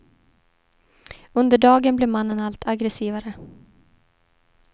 Under dagen blev mannen allt aggressivare.